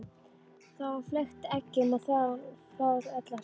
Þá var fleygt eggjum og þvagan fór öll á hreyfingu.